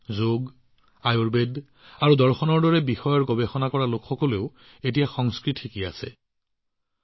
যোগ আয়ুৰ্বেদ দৰ্শন আদি বিষয়ত গৱেষণা কৰা লোকসকলে এতিয়া অধিক সংস্কৃত শিকিবলৈ আৰম্ভ কৰিছে